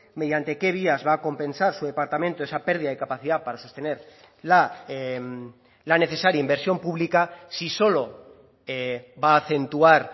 mediante qué vías va a compensar su departamento esa pérdida de capacidad para sostener la necesaria inversión pública si solo va a acentuar